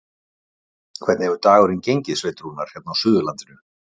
Hvernig hefur dagurinn gengið, Sveinn Rúnar, hér á Suðurlandinu?